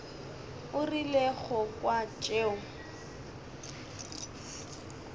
o rile go kwa tšeo